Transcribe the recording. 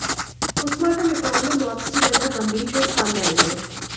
postmortem report में मौत की वजह गंभीर चोट सामने आई है